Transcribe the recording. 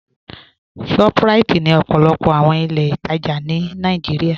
ShopRite ni òpó̩lópó̩ àwọn ilẹ̀-itaja ní Nàìjíríà.